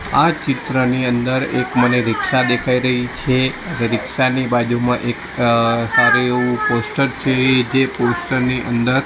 આ ચિત્રની અંદર એક મને રિક્ષા દેખાય રહી છે રિક્ષા ની બાજુમાં એક અ સારુ એવુ પોસ્ટર છે જે પોસ્ટર ની અંદર--